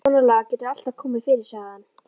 Svonalagað getur alltaf komið fyrir sagði hann.